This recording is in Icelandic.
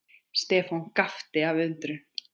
Stefán gapti af undrun.